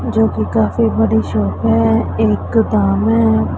जो कि काफी बड़ी शॉप है एक दाम है।